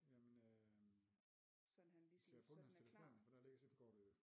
Jamen øh vi skal have fundet hans telefon for der ligger simkortet jo